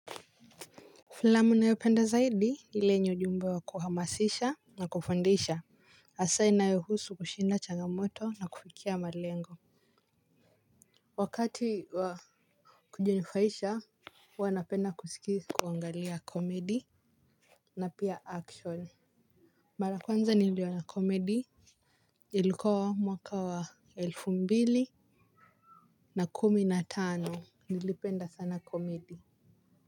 Filamu ninayoipenda zaidi ile yenye ujumbe wa kuhamasisha na kufundisha. Hasa inayohusu kushinda changamoto na kufikia malengo. Wakati wa kujinufaisha huwa napenda kuangalia komedi na pia action. Mara ya kwanza niliona komedi ilikuwa mwaka wa elfu mbili kumi na tano, nilipenda sana komedi.